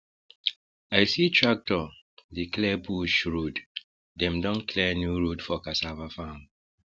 i see tractor dey clear bush road dem don clear new road for cassava farm